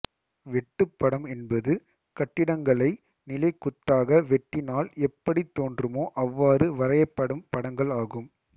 வெட்டுப்படம் என்பது கட்டிடங்களை நிலைக்குத்தாக வெட்டினால் எப்படித் தோன்றுமோ அவ்வாறு வரையப்படும் படங்கள் ஆகும்